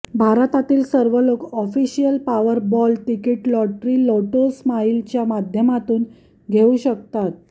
भारतातील सर्व लोक ऑफिशियल पावरबॉल तिकीट लॉटरी लोटोस्माईलच्या माध्यमातून घेऊ शकतात